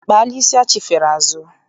I kpaala isi achifere azụ?